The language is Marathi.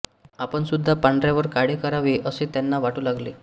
आपणसुद्धा पांढऱ्यावर काळे करावे असे त्यांना वाटू लागले